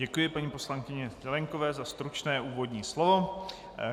Děkuji paní poslankyni Zelienkové za stručné úvodní slovo.